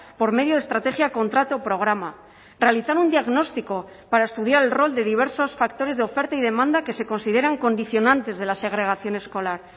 por medio de estrategia contrato programa realizar un diagnóstico para estudiar el rol de diversos factores de oferta y demanda que se consideran condicionantes de la segregación escolar